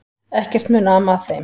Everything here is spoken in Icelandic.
Ekkert mun ama að þeim.